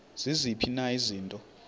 ziziphi na izinto